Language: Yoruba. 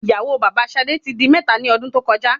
ìyàwó baba sadé ti di mẹ́ta ni ọdún tó koja